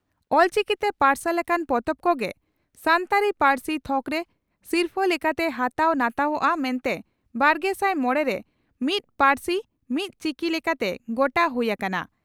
ᱚᱞᱪᱤᱠᱤᱛᱮ ᱯᱟᱨᱥᱟᱞ ᱟᱠᱟᱱ ᱯᱚᱛᱚᱵ ᱠᱚᱜᱮ ᱥᱟᱱᱛᱟᱲᱤ ᱯᱟᱹᱨᱥᱤ ᱛᱷᱚᱠᱨᱮ ᱥᱤᱨᱯᱷᱟᱹ ᱞᱮᱠᱟᱛᱮ ᱦᱟᱛᱟᱣ ᱱᱟᱛᱟᱣᱚᱜᱼᱟ ᱢᱮᱱᱛᱮ ᱵᱟᱨᱜᱮᱥᱟᱭ ᱢᱚᱲᱮ ᱨᱮ 'ᱢᱤᱫ ᱯᱟᱹᱨᱥᱤ ᱢᱤᱫ ᱪᱤᱠᱤ " ᱞᱮᱠᱟᱛᱮ ᱜᱚᱴᱟ ᱦᱩᱭ ᱟᱠᱟᱱᱟ ᱾